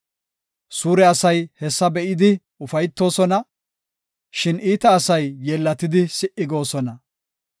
Suure asay hessa be7idi ufaytoosona; shin iita asay yeellatidi si77i goosona.